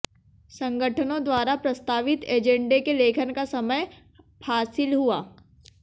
संगठनों द्वारा प्रस्तावित ऐजेंडे के लेखन का समय फासील हुआ